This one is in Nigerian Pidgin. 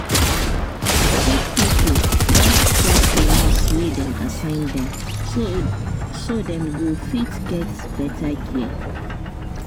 sick pipo gats trust the nurse wey dem assign to dem so dem go fit get better care